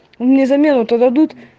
мне замену то дадут